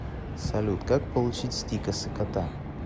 салют как получить стикосы кота